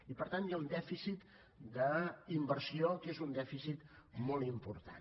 i per tant hi ha un dèficit d’inversió que és un dèficit molt important